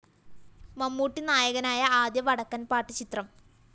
മമ്മൂട്ടി നായകനായ ആദ്യ വടക്കന്‍ പാട്ട്‌ ചിത്രം